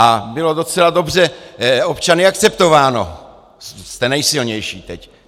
A bylo docela dobře občany akceptováno, jste nejsilnější teď.